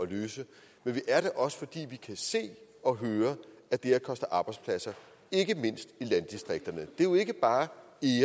at løse men vi er det også fordi vi kan se og høre at det koster arbejdspladser ikke mindst i landdistrikterne det er jo ikke bare